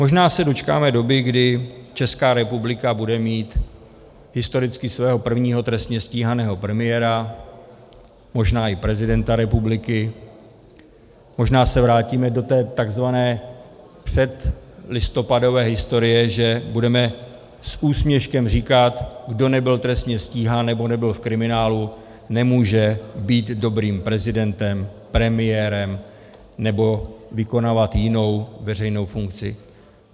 Možná se dočkáme doby, kdy Česká republika bude mít historicky svého prvního trestně stíhaného premiéra, možná i prezidenta republiky, možná se vrátíme do té tzv. předlistopadové historie, že budeme s úsměškem říkat: kdo nebyl trestně stíhán nebo nebyl v kriminálu, nemůže být dobrým prezidentem, premiérem nebo vykonávat jinou veřejnou funkci.